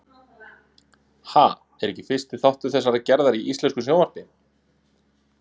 Ha? er ekki fyrsti þáttur þessarar gerðar í íslensku sjónvarpi.